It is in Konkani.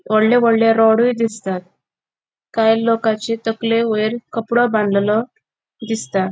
वडले वडले रॉडयु दिसतात काय लोकचे तकले वयर कपड़ों बांढलेलो दिसता.